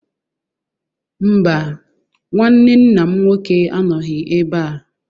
Mba, nnwanne nna m nnwoke anọghị ebe a.